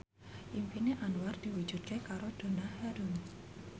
impine Anwar diwujudke karo Donna Harun